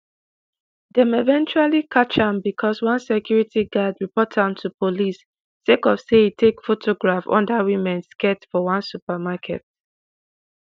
dem eventually catch am becos one security guard report am to police sake of say e take photographs under women skirts for one supermarket.